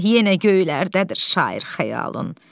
Yenə göylərdədir şair xəyalın.